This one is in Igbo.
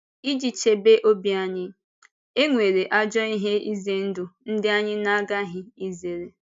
Ịji chebe ọ̀bì anyị, e nwere àjọ ihe ize ndụ ndị anyị na-agaghị izere.